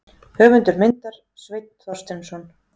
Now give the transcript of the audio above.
Höfundur myndar: Sveinn Þorsteinsson.